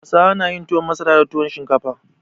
Hausawa na yin tuwon masara da tuwon shinkafa.